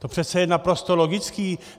To přece je naprosto logické.